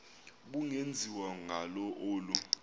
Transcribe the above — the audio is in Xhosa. ubungenziwa ngalo olu